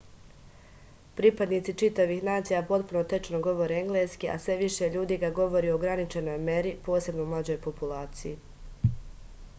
pripadnici čitavih nacija potpuno tečno govore engleski a sve više ljudi ga govori u ograničenoj meri posebno u mlađoj populaciji